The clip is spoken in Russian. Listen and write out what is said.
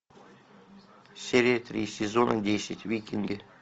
серия три сезона десять викинги